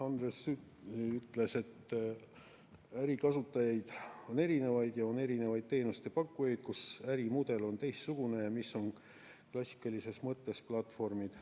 Andres Sutt ütles, et ärikasutajaid on erinevaid ja on erinevaid teenuste pakkujaid, kus ärimudel on teistsugune ja mis on klassikalises mõttes platvormid.